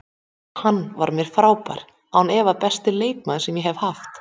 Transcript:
Hann var mér frábær, án efa besti leikmaðurinn sem ég haft.